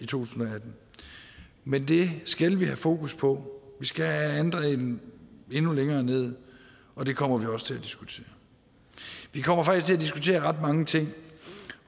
tusind og atten men det skal vi have fokus på vi skal have andelen endnu længere ned og det kommer vi også til at diskutere vi kommer faktisk til at diskutere ret mange ting